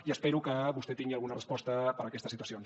i espero que vostè tingui alguna resposta per a aquestes situacions